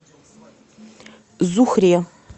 зухре